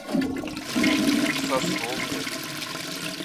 сосновкой